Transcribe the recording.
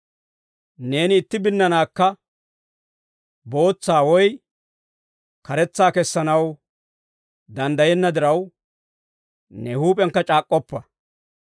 Neeni itti binnanaakka bootsa woy karetsa kessanaw danddayenna diraw, ‹Ne huup'iyankka c'aak'k'oppa.›